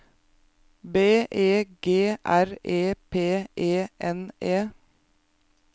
B E G R E P E N E